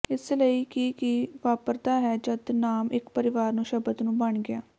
ਇਸ ਲਈ ਕਿ ਕੀ ਵਾਪਰਦਾ ਹੈ ਜਦ ਨਾਮ ਇੱਕ ਪਰਿਵਾਰ ਨੂੰ ਸ਼ਬਦ ਨੂੰ ਬਣ ਗਿਆ